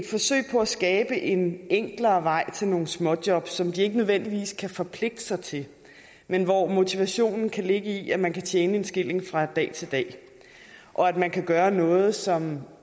på at skabe en enklere vej til nogle småjobs som de ikke nødvendigvis kan forpligte sig til men hvor motivationen kan ligge i at man kan tjene en skilling fra dag til dag og at man kan gøre noget som